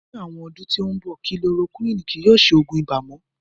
Ni awọn ọdun ti nbọ, kilorokuwini kii yóò ṣe oogun ibà mo.